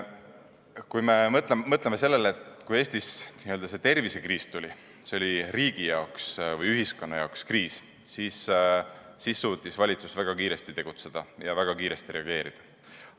Kui me mõtleme sellele, et kui Eestis see n-ö tervisekriis tuli, see oli riigi või ühiskonna jaoks kriis, siis suutis valitsus väga kiiresti tegutseda ja väga kiiresti reageerida.